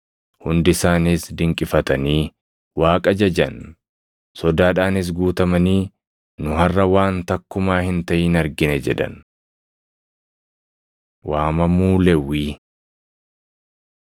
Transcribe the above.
Hundi isaaniis dinqifatanii Waaqa jajan. Sodaadhaanis guutamanii, “Nu harʼa waan takkumaa hin taʼin argine” jedhan. Waamamuu Lewwii 5:27‑32 kwf – Mat 9:9‑13; Mar 2:14‑17